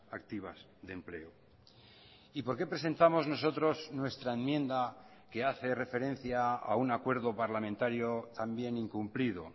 activas de empleo y por qué presentamos nosotros nuestra enmienda que hace referencia a un acuerdo parlamentario también incumplido